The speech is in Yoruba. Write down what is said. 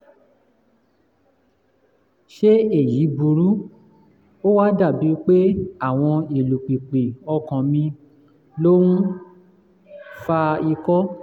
ṣé èyí burú? ó wá dàbí pé àwọn ìlù pìpì ọkàn mi ló ń fa ikọ́